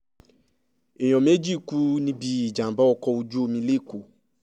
èèyàn méjì kú níbi ìjàm̀bá ọkọ̀ ojú omi lẹ́kọ̀ọ́